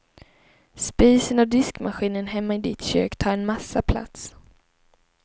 Spisen och diskmaskinen hemma i ditt kök tar en massa plats.